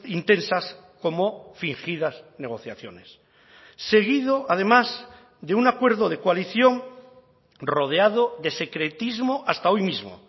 intensas como fingidas negociaciones seguido además de un acuerdo de coalición rodeado de secretismo hasta hoy mismo